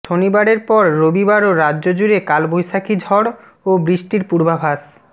শনিবারের পর রবিবারও রাজ্যজুড়ে কালবৈশাখী ঝড় ও বৃষ্টির পূর্বাভাস